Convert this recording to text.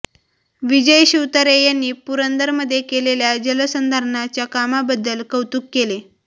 विजय शिवतारे यांनी पुरंदरमध्ये केलेल्या जलसंधारणाच्या कामाबद्दल कौतुक केले